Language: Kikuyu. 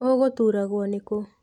Ũgũturagwũ nĩ kũũ.